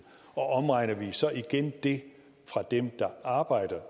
omregner vi så igen det fra dem der arbejder